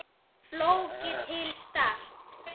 Flóki til Start?